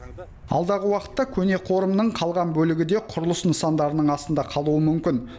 алдағы уақытта көне қорымның қалған бөлігі де құрылыс нысандарының астында қалуы мүмкін